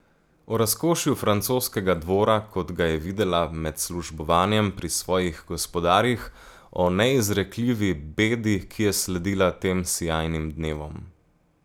O razkošju francoskega dvora, kot ga je videla med službovanjem pri svojih gospodarjih, o neizrekljivi bedi, ki je sledila tem sijajnim dnevom.